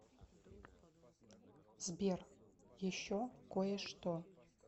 сбер еще кое что